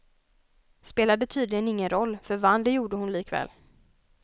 Spelade tydligen ingen roll, för vann det gjorde hon likväl.